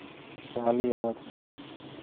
Kaliya waad heshay